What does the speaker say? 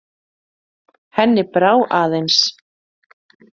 Henni brá aðeins.